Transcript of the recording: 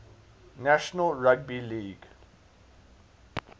national rugby league